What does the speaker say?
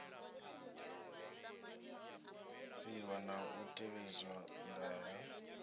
ḓivha na u tevhedzela ndaela